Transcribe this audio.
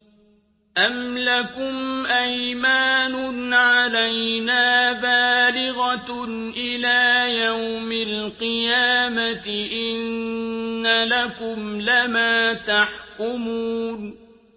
أَمْ لَكُمْ أَيْمَانٌ عَلَيْنَا بَالِغَةٌ إِلَىٰ يَوْمِ الْقِيَامَةِ ۙ إِنَّ لَكُمْ لَمَا تَحْكُمُونَ